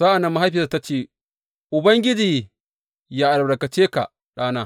Sa’an nan mahaifiyarsa ta ce, Ubangiji yă albarkace ka ɗana!